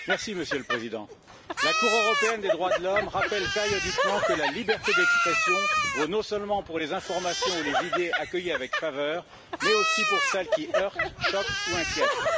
Monsieur le Président, la Cour européenne des droits de l'homme rappelle périodiquement que la liberté d'expression vaut non seulement pour les informations ou les idées accueillies avec faveur, mais aussi pour celles qui heurtent, choquent ou inquiètent.